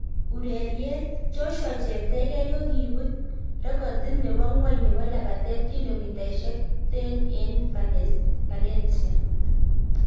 Urereriet: Joshua Cheptegei kogibut rekotit nebo ng'wony nebo labatetab kilomitaisiek 10 en Valencia